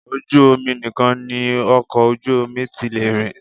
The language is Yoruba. Ojú omi nìkan ni ọkọ ojú omi ti lè rìn